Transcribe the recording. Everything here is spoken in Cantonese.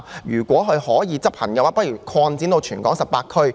如果是可以執行的，不如擴展至全港18區。